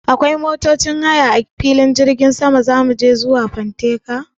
Akwai motocin haya a filin jirgin sama ne da za mu hau zuwa fanteka?